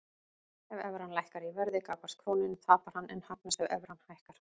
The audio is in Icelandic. Ef evran lækkar í verði gagnvart krónunni tapar hann en hagnast ef evran hækkar.